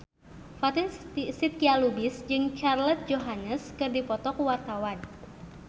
Fatin Shidqia Lubis jeung Scarlett Johansson keur dipoto ku wartawan